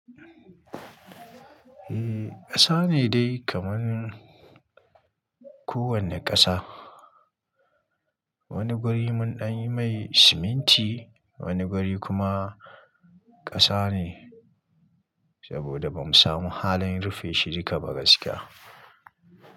Eh, ƙasa ne dai kaman kowane ƙasa. Wani guri mun danyi mai siminti, wani guri kuma ƙasa ne saboda bamu samu halin rufe shi duka ba gaskiya.